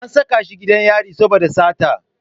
An saka shi gidan yari saboda sata.